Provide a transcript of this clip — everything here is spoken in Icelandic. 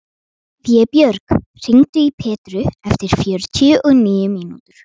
Vébjörg, hringdu í Petru eftir fjörutíu og níu mínútur.